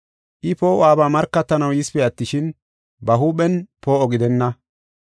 I poo7uwabaa markatanaw yisipe attishin, ba huuphen poo7o gidenna.